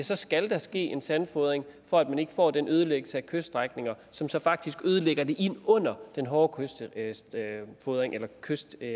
der skal ske en sandfodring for at man ikke får den ødelæggelse af kyststrækninger som så faktisk ødelægger det ind under den hårde kystsikring